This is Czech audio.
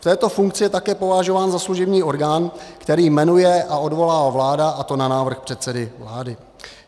V této funkci je také považován za služební orgán, který jmenuje a odvolává vláda, a to na návrh předsedy vlády.